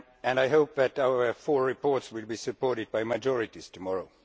I hope that our four reports will be supported by majorities tomorrow.